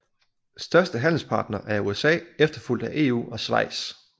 Største handelspartner er USA efterfulgt af EU og Schweiz